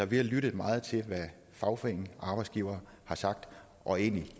vi har lyttet meget til hvad fagforeninger og arbejdsgivere har sagt og egentlig